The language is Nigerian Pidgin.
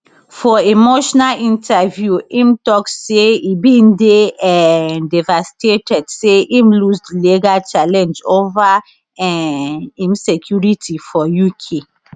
for emotional interview im tok say e bin dey um devastated say im lose di legal challenge ova um im security for uk